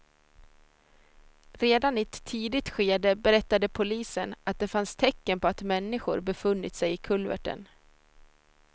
Redan i ett tidigt skede berättade polisen att det fanns tecken på att människor befunnit sig i kulverten.